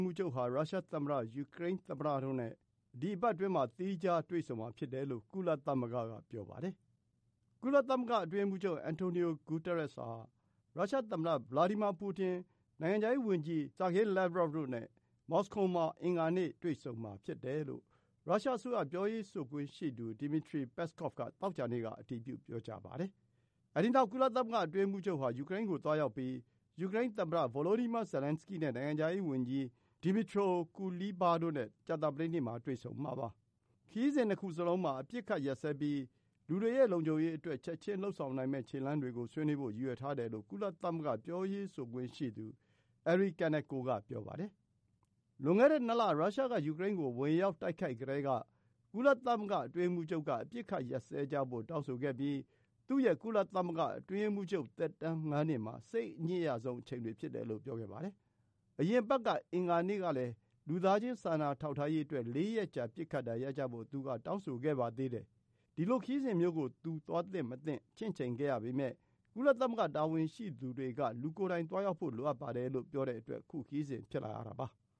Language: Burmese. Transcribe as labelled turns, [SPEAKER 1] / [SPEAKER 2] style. [SPEAKER 1] မှူးချုပ်ဟာ ရုရှားသမ္မတ၊ ယူကရိန်းသမ္မတတို့နဲ့ လာမယ့်ရက်တွေမှာ သီးခြားစီ တွေ့ဆုံမှာဖြစ်တယ်လို့ ကုလသမဂ္ဂက ပြောပါတယ်။ ကုလသမဂ္ဂ အတွင်းရေးမှူးချုပ် Antonio Guterres ဟာ ရုရှားသမ္မတ Vladimir Putin၊ နိုင်ငံခြားရေးဝန်ကြီး Sergey Lavrov တို့နဲ့ မော်စကိုမှာ အင်္ဂါနေ့ တွေ့ဆုံမှာဖြစ်တယ်လို့ ရုရှားအစိုးရ ပြောရေးဆိုခွင့်ရှိသူ Dmitry Peskov က သောကြာနေ့က အတည်ပြု ပြောကြားပါတယ်။ အဲဒီနောက် ကုလသမဂ္ဂ အတွင်းရေးမှူးချုပ်ဟာ ယူကရိန်းကို သွားရောက်ပြီး ယူကရိန်းသမ္မတ Volodymyr Zelenskyy နဲ့ နိုင်ငံခြားရေးဝန်ကြီး Dmytro Kuleba တို့နဲ့ ကြာသပတေးနေ့မှာ တွေ့ဆုံမှာပါ။ ခရီးစဉ် ၂ ခုလုံးမှာ အပစ်အခတ်ရပ်စဲပြီး လူတွေရဲ့ လုံခြုံရေးအတွက် ချက်ချင်း လုပ်ဆောင်နိုင်မယ့် ခြေလှမ်းတွေကို ဆွေးနွေးဖို့ ရည်ရွယ်ထားတယ်လို့ ကုလသမဂ္ဂ ပြောရေးဆိုခွင့်ရှိသူ Eri Kaneko က ပြောပါတယ်။ လွန်ခဲ့တဲ့ ၂ လ ရုရှားက ယူကရိန်းကို ဝင်ရောက် တိုက်ခိုက်ကတည်းက ကုလသမဂ္ဂ အတွင်းရေးမှူးချုပ်က အပစ်အခတ် ရပ်စဲကြဖို့ တောင်းဆိုခဲ့ပြီး သူ့ရဲ့ ကုလသမဂ္ဂ အတွင်းရေးမှူးချုပ် သက်တမ်း ၅ နှစ်မှာ စိတ်အညစ်ရဆုံးအချိန်တွေ ဖြစ်တယ်လို့ ပြောခဲ့ပါတယ်။ အရင်အပတ် အင်္ဂါနေ့တုန်းကလည်း လူသားချင်း စာနာထောက်ထားရေးအတွက် ၄ ရက်ကြာ ပစ်ခတ်တာ ရပ်ကြဖို့ သူက တောင်းဆိုခဲ့ပါသေးတယ်။ ဒီလိုခရီးစဉ်မျိုးကို သူ သွားသင့်မသွားသင့် ချင့်ချိန်ခဲ့ရပေမဲ့ ကုလသမဂ္ဂ တာဝန်ရှိသူတွေက လူကိုယ်တိုင် သွားရောက်ဖို့ လိုပါတယ်လို့ ပြောတဲ့အတွက် ခုခရီးစဉ် ဖြစ်လာရတာပါ။